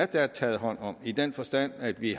der er taget hånd om i den forstand at vi